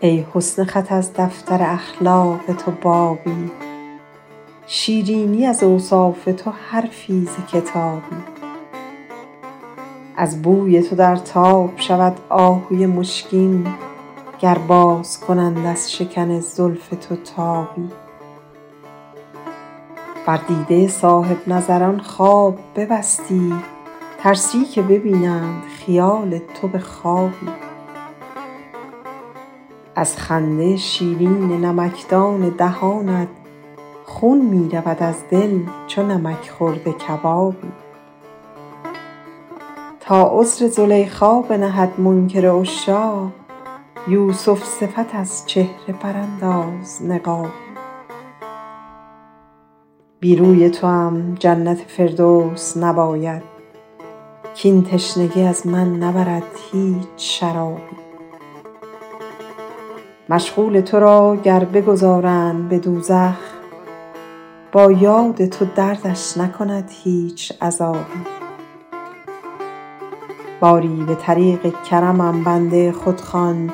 ای حسن خط از دفتر اخلاق تو بابی شیرینی از اوصاف تو حرفی ز کتابی از بوی تو در تاب شود آهوی مشکین گر باز کنند از شکن زلف تو تابی بر دیده صاحب نظران خواب ببستی ترسی که ببینند خیال تو به خوابی از خنده شیرین نمکدان دهانت خون می رود از دل چو نمک خورده کبابی تا عذر زلیخا بنهد منکر عشاق یوسف صفت از چهره برانداز نقابی بی روی توام جنت فردوس نباید کاین تشنگی از من نبرد هیچ شرابی مشغول تو را گر بگذارند به دوزخ با یاد تو دردش نکند هیچ عذابی باری به طریق کرمم بنده خود خوان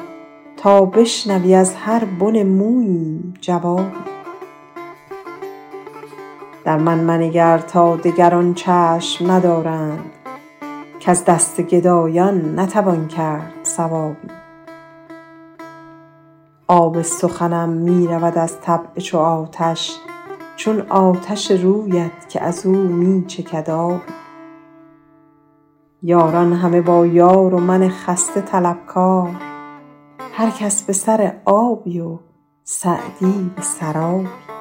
تا بشنوی از هر بن موییم جوابی در من منگر تا دگران چشم ندارند کز دست گدایان نتوان کرد ثوابی آب سخنم می رود از طبع چو آتش چون آتش رویت که از او می چکد آبی یاران همه با یار و من خسته طلبکار هر کس به سر آبی و سعدی به سرابی